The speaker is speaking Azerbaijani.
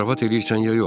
Zarafat eləyirsən ya yox?